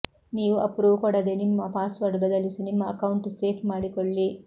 ನೀವು ಅಪ್ರೂವ್ ಕೊಡದೆ ನಿಮ್ಮ ಪಾಸ್ವರ್ಡ್ ಬದಲಿಸಿ ನಿಮ್ಮ ಅಕೌಂಟ್ ಸೇಫ್ ಮಾಡಿಕೊಳ್ಳಿ